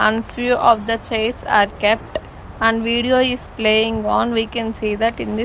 and few of the chairs are kept and video is playing on we can see that in this --